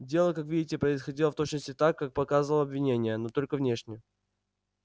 дело как видите происходило в точности так как показывало обвинение но только внешне